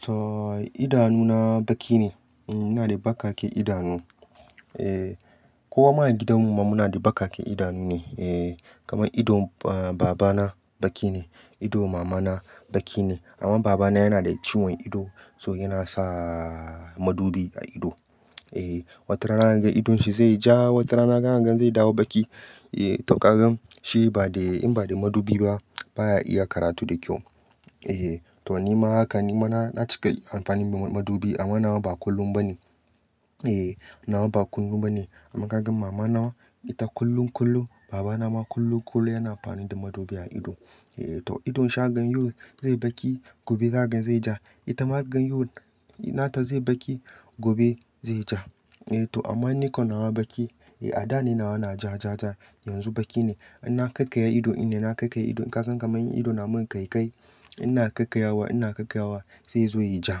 To idanuna baki ne. Ina da bakaken idanu. Eh, kowa ma a gidan mu muna da bakaken idanu ne. Eh, kamar idon baba na baki ne, ido mama na baki ne amma baba na yana da ciwon ido, so yana sa madubi a ido. Eh, wata rana zaka ga idon shi zai ja, wata rana kaga zai dawo baki. Eh to kagan shi in ba da madubi ba baya iya karatu da kyau. Eh to ni ma haka ni ma na cika amfani da madubi amma nawa ba kullum ba ne. Eh nawa ba kullum ba ne. Amma kaga mama na ita kullum kullum, baba na ma kullum kullum yana amfani da madubi a ido. Eh to idon sha gan yau zai baki gobe zaka gan zai ja. Ita ma gan yau nata zai baki gobe zai ja. Eh to amma ni kan nawa baki. A da ne nawa na ja ja ja yanzu baki ne. In na kakaya ido ina na kakaya ido. In ka san kamar ido na mun kai kai. Ina kakayawa ina kakayawa sai ya zo ya ja.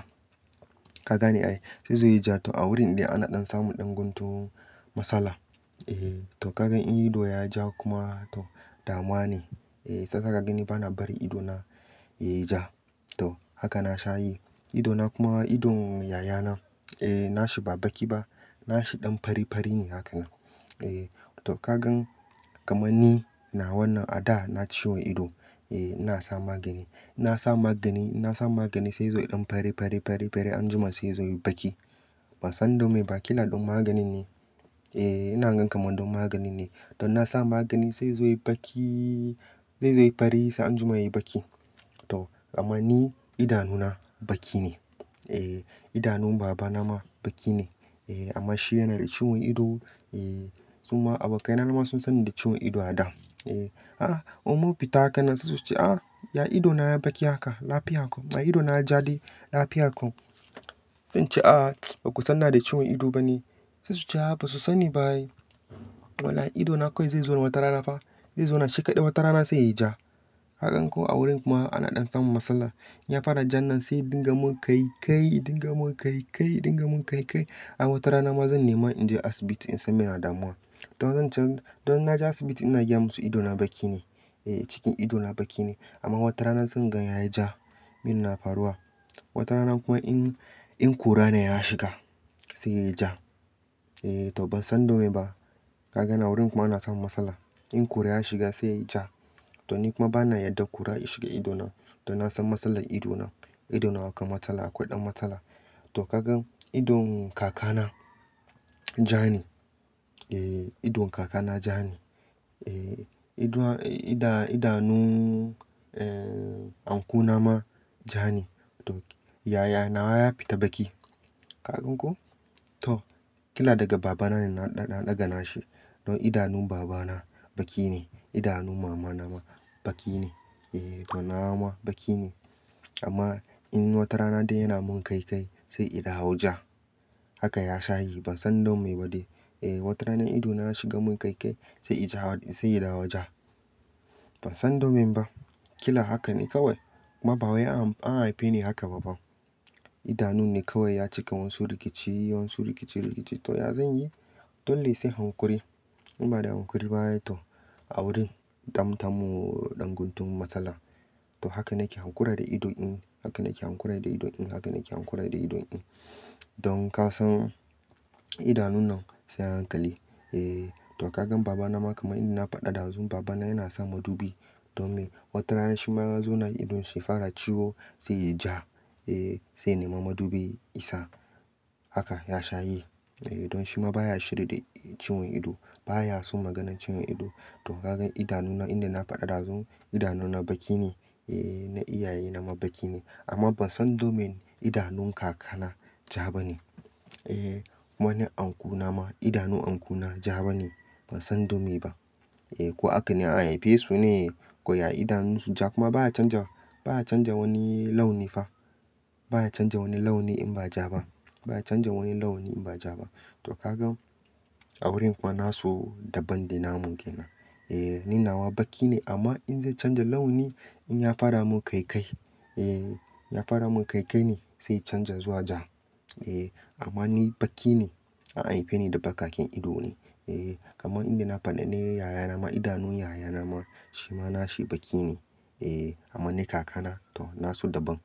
Ka gane ai. Sai zai zo ya ja to a wurin da ana ɗan samu ɗan guntun matsala. Eh to kaga in ido ya ja kuma to damuwa ne. Eh sasa ka gani bana bari ido na ya ja. To haka na sha yi. Ido na kuma idon yaya na, eh na shi ba baki ba. Na shi ɗan fari fari ne haka. Eh to kagan kamar ni nawa nan a da na ciwon ido. Eh ina sa magani. Na sa magani, na sa magani sai zai zo ɗan fari fari fari anjima sai ya zo yayi baki. Ban san domin bakin na ɗan magani ne. Eh ina gan kamar ɗan magani ne. Don na sa magani sai ya zo yayi baki, sai ya zo yayi fari sai anjima yayi baki. To amma ni idanuna baki ne. Eh idanun baba na ma baki ne. Eh amma shi yana da ciwon ido. Eh suma abokai na ma sun san ni da ciwon ido a da. Eh, ah in mini fita haka nan sai su ce "ah ya ido na ya baki haka lafiya ko, ma ido na ya ja dai lafiya ko." Zan ce ah baku san ina da ciwon ido ba ne. Sai su ce ah basu sani ba. Wala'i ido na kawai zai zo na wata rana fa. Zai zauna shi kaɗai wata rana sai yayi ja. Kagan ko a wurin kuma ana ɗan samun matsala. Ya fara ja nan sai dinga mun kai kai, dinga mun kai kai, dinga mun kai kai. Amma wata rana ma zan nema in je asibiti in san me ne damuwa. To zan ce don na je asibiti ina gaya musu ido na baki ne. Eh cikin ido na baki ne. Amma wata rana zan gan ya ja. Min na faruwa. Wata rana kuma in, in ƙura na ya shiga sai ya ja. Eh to ban san domin ba. Kaga a wurin kuma ana samun matsala. In kura ya shiga sai ya ja. To ni kuma bana yarda ƙura ya shiga ido na. Don na san matsalar ido na. Ido na akwai matsala akwai ɗan matsala. To kaga idon kaka na ja ne. Eh idon kaka na ja ne. Eh idanu, idanu, idanu, eh anko na ma ja ne. To yaya na ya fita baki. Ka gan ko? To kila daga baba na ne na ɗaga, ɗaga na shi. Don idanun baba na baki ne. Idanun mama na ma baki ne. Eh to nawa ma baki ne. Amma in wata rana dai yana mun kai kai sai ya dawo ja. Haka ya sha yi. Ban san don me ba dai. Eh wata rana ido na ya shiga mun kai kai sai yayi ja, sai ya dawo ja. Ban san domin ba. Kila hakan ne kawai. Kuma ba wai an haife ni haka ba fa. Idanun ne kawai ya cika wasu rikici, wasu rikici rikici. To ya zan yi? Dole sai hankuri. In ba da hankuri ba ai to a wurin dam damu ɗan guntun matsala. To haka na ke hankura da ido in. Haka na ke hankura da ido in. Haka na ke hankura da ido in. Don ka san idanun nan sai a hankali. Eh to kaga baba na ma kamar ina faɗa ɗazu baba na yana sa madubi. Domin wata rana shi ma ya zo na idon shi ya fara ciwo sai ya ja. Eh sai nema madubi ya sa. Haka ya sha yi. Eh don shi ma baya shirya da ciwon ido. Baya so maganan ciwon ido. To kaga idanun ina na faɗa ɗazu idanuna baki ne. Eh na iyaye na ma baki ne. Amma ban san domin idanun kaka na ja ba ne. Eh kuma na anko na ma idanun anko na ja ba ne. Ban san domin ba. Eh ko haka ne an haife su ne. Kwana idanun su ja kuma baya canja, baya canja wani launi fa. Baya canja wani launi in ba ja ba. Baya canja wani launi in ba ja ba. To kaga a wurin kuma na so daban da na mun ke nan. Eh ni nawa baki ne amma in zai canja launi in ya fara mun kai kai. Eh ya fara mun kai kai ne sai ya canja zuwa ja. Eh amma ni baki ne. An haife ni da bakaken ido ne. Eh kamar ina na faɗa ne yaya na ma idanu yaya na ma shi ma na shi baki ne. Eh amma ni kaka na to na so daban.